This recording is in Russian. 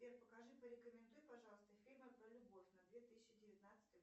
сбер покажи порекомендуй пожалуйста фильмы про любовь на две тысячи девятнадцатый